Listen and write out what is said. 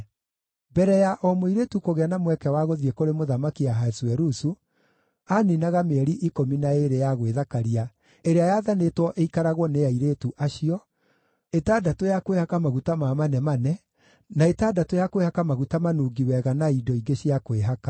Mbere ya o mũirĩtu kũgĩa na mweke wa gũthiĩ kũrĩ Mũthamaki Ahasuerusu, aaniinaga mĩeri ikũmi na ĩĩrĩ ya gwĩthakaria ĩrĩa yaathanĩtwo ĩikaragwo nĩ airĩtu acio, ĩtandatũ ya kwĩhaka maguta ma manemane, na ĩtandatũ ya kwĩhaka maguta manungi wega na indo ingĩ cia kwĩhaka.